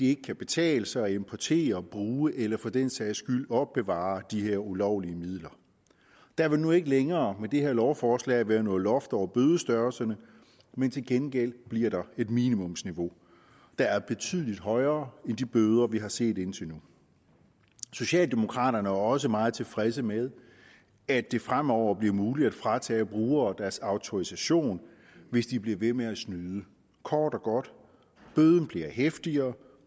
ikke kan betale sig at importere bruge eller for den sags skyld opbevare de her ulovlige midler der vil nu ikke længere med det her lovforslag være noget loft over bødestørrelserne men til gengæld bliver der et minimumsniveau der er betydelig højere end de bøder vi har set indtil nu socialdemokraterne er også meget tilfredse med at det fremover bliver muligt at fratage brugere deres autorisation hvis de bliver ved med at snyde kort og godt bøden bliver heftigere